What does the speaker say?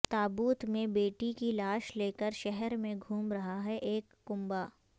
تابوت میں بیٹی کی لاش لے کر شہر میں گھوم رہا ہے ایک کنبہ